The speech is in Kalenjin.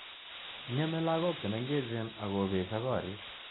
Ngeme lagok che mengechen akopesho korik.